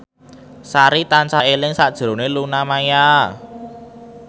Sari tansah eling sakjroning Luna Maya